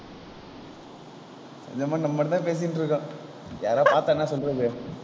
இந்த மாதிரி நம்ம மட்டும் தான் பேசிட்டு இருக்கோம். யாராவது பார்த்தா என்ன சொல்றது